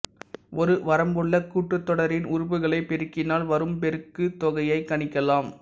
ஒரு வரம்புள கூட்டுத்தொடரின் உறுப்புகளைப் பெருக்கினால் வரும் பெருக்குத்தொகையைக் கணிக்கலாம்